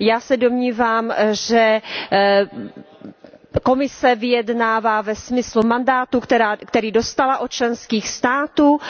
Já se domnívám, že Komise vyjednává ve smyslu mandátu, který dostala od členských států,